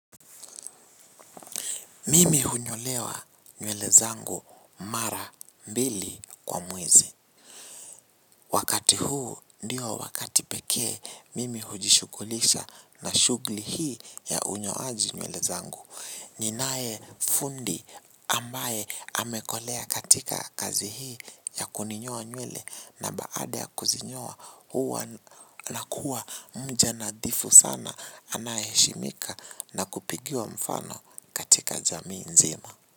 Mimi hunyolewa nywele zangu mara mbili kwa mwezi. Wakati huu ndio wakati pekee mimi hujishughulisha na shughuli hii ya unyoaji nywele zangu. Ninae fundi ambaye amekolea katika kazi hii ya kuninyoa nywele na baada ya kuzinyoa huwa anakuwa mja nadhifu sana anaheshimika na kupigiwa mfano katika jamii nzima.